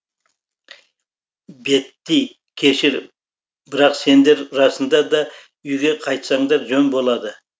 бетти кешір бірақ сендер расында да үйге қайтсаңдар жөн болады